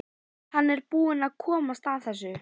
Hann er búinn að komast að þessu.